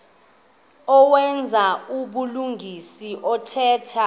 owenza ubulungisa othetha